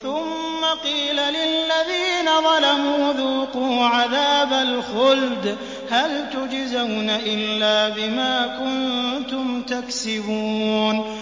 ثُمَّ قِيلَ لِلَّذِينَ ظَلَمُوا ذُوقُوا عَذَابَ الْخُلْدِ هَلْ تُجْزَوْنَ إِلَّا بِمَا كُنتُمْ تَكْسِبُونَ